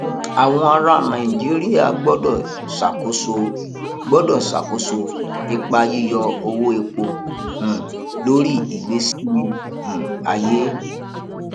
àwọn ará nàìjíríà gbọdọ ṣàkóso gbọdọ ṣàkóso ipa yíyọ owó epo um lórí ìgbésí um ayé